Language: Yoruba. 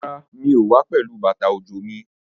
Rárá, mi ò wá pẹ̀lú bàtà òjò mi.